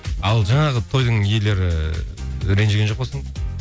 ал жаңағы тойдың иелері ренжіген жоқ па сонда